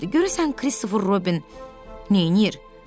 Görəsən Kristofer Robin neyləyir?